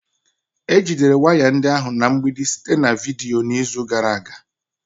Ejidere waya ndị ahụ na mgbidi site na vidiyo n'izu gara aga